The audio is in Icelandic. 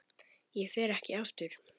Ég fer ekki aftur.